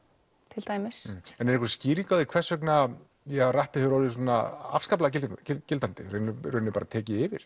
til dæmis en er einhver skýring á því hvers vegna rappið er svona afskaplega gildandi í rauninni bara tekið yfir